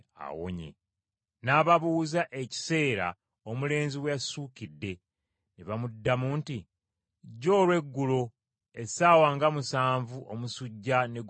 N’ababuuza ekiseera omulenzi we yassuukidde. Ne bamuddamu nti, “Jjo olw’eggulo essaawa nga musanvu omusujja ne gumuwonako!”